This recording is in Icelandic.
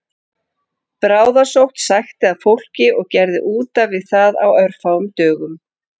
Bráðasótt sækti að fólki og gerði útaf við það á örfáum dögum